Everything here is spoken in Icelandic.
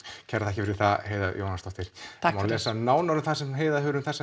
kærar þakkir fyrir það Heiða Jóhannsdóttir það má lesa nánar það sem Heiða hefur um